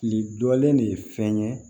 Kile dɔlen de ye fɛn ye